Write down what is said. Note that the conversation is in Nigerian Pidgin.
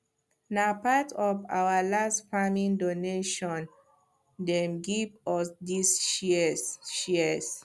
na part of our last farming donation dem give us these shears shears